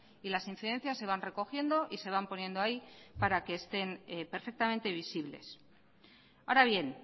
y las incidencias se van recogiendo y se van poniendo ahí para que estén perfectamente visibles ahora bien